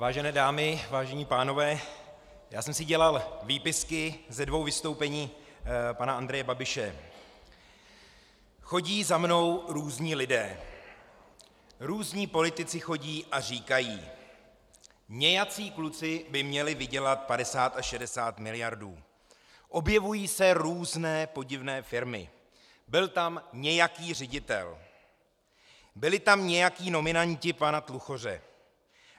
Vážené dámy, vážení pánové, já jsem si dělal výpisky ze dvou vystoupení pana Andreje Babiše: chodí za mnou různí lidé, různí politici chodí a říkají: nějací kluci by měli vydělat 50 až 60 miliard, objevují se různé podivné firmy, byl tam nějaký ředitel, byli tam nějací nominanti pana Tluchoře.